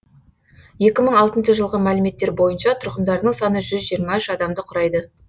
екі мың алтыншы жылғы мәліметтер бойынша тұрғындарының саны жүз жиырма үш адамды құрайды